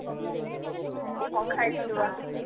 କଣ ଖାଇଥିଲୁ ବା